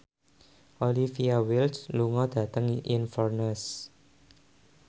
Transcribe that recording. Olivia Wilde lunga dhateng Inverness